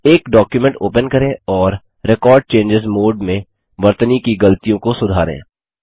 एक document open करें और रेकॉर्ड चेंजों मोड में वर्तनी की गलतियों को सुधारें